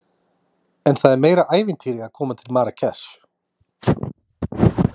En það er meira ævintýri að koma til Marrakesh.